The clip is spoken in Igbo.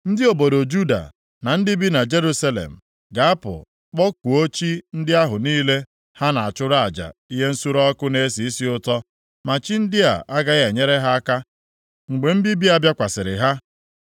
Ndị obodo Juda na ndị bi na Jerusalem ga-apụ kpọkuo chi ndị ahụ niile ha na-achụrụ aja ihe nsure ọkụ na-esi isi ụtọ, ma chi ndị a agaghị enyere ha aka mgbe mbibi a bịakwasịrị ha.